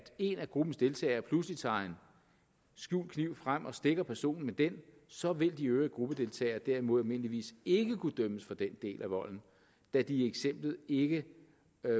en af gruppens deltagere pludselig tager en skjult kniv frem og stikker personen med den så vil de øvrige gruppedeltagere derimod almindeligvis ikke kunne dømmes for den del af volden da de i eksemplet ikke